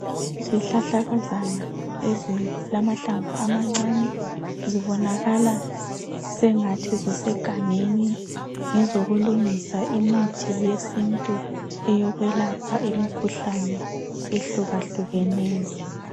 Izihlahlakazana ezilamahlamvu amancani, zibonakala sengathi zisegangeni. Ngezokulungisa imithi yesintu, eyokwelapha imikhuhlane ehlukahlukeneyo.